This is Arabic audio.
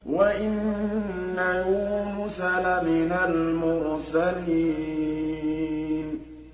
وَإِنَّ يُونُسَ لَمِنَ الْمُرْسَلِينَ